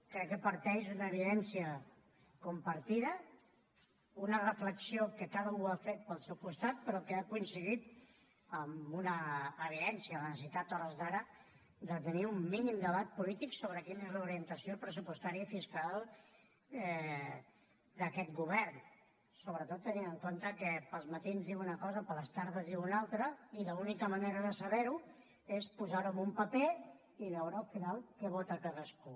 crec que parteix d’una evidència compartida una reflexió que cadascú ha fet pel seu costat però que ha coincidit en una evidència la necessitat a hores d’ara de tenir un mínim debat polític sobre quina és l’orientació pressupostària i fiscal d’aquest govern sobretot tenint en compte que pels matins diu una cosa i per les tardes en diu una altra i l’única manera de saber ho és posar ho en un paper i veure al final què vota cadascú